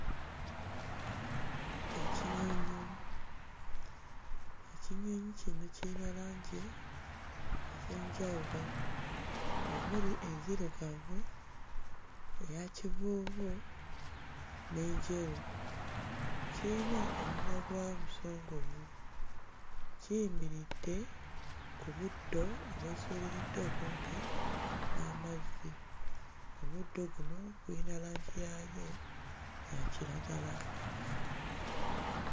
Ekinyonyi, ekinyonyi kino kiyina langi ez'enjawulo omuli enzirugavu, eya kivuuvu n'enjeru. Kiyina omumwa ogwa musongovu kiyimiridde ku buddo obwesuuliridde okumpi n'amazzi omuddo guno guyina langi yaayo ya kiragala.